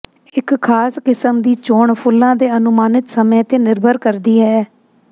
ਇੱਕ ਖਾਸ ਕਿਸਮ ਦੀ ਚੋਣ ਫੁੱਲਾਂ ਦੇ ਅਨੁਮਾਨਿਤ ਸਮੇਂ ਤੇ ਨਿਰਭਰ ਕਰਦੀ ਹੈ